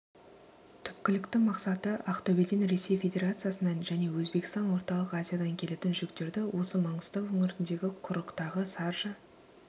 түпкілікті мақсаты ақтөбеден ресей федерациясынан және өзбекстан орталық азиядан келетін жүктерді осы маңғыстау өңіріндегі құрықтағы саржа